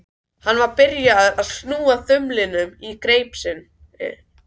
Hann var aftur byrjaður að snúa þumlunum í greip sinni.